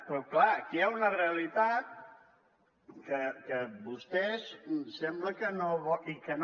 però clar aquí hi ha una realitat que vostès sembla que no volen